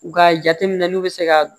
Nga jateminɛli bɛ se ka